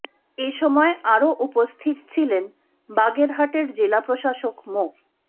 এ সময় আরও উপস্থিত ছিলেন বাগেরহাটের জেলা প্রশাসক মো